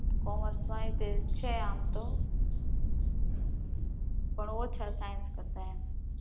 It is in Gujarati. કોમર્સ માં એ કે છે આમ તોહ પણ ઓછા સાયન્સ કરતાંય એમ